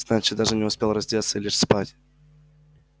значит даже не успел раздеться и лечь спать